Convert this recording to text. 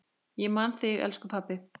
Ég man þig, elsku pabbi.